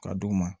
Ka d'u ma